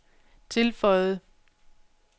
tilføjede